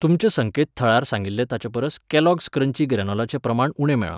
तुमच्या संकेतथळार सांगिल्लें ताचेपरस कॅलॉग्स क्रंची ग्रॅनोलाचें प्रमाण उणें मेळ्ळां.